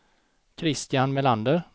Kristian Melander